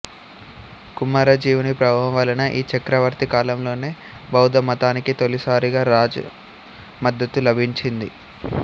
కుమారజీవుని ప్రభావం వలన ఈ చక్రవర్తి కాలంలోనే బౌద్దమతానికి తొలిసారిగా రాజ మద్దతు లభించింది